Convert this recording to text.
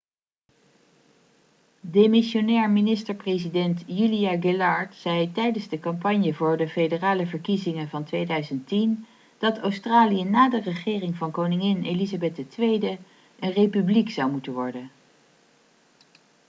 demissionair minister-president julia gillard zei tijdens de campagne voor de federale verkiezingen van 2010 dat australië na de regering van koningin elizabeth ii een republiek zou moeten worden